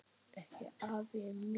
Ekki afi minn.